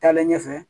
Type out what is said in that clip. Taalen ɲɛfɛ